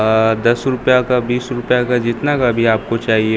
अअ दस रुपया का बीस रुपया का जितना का भी आ को चाहिए।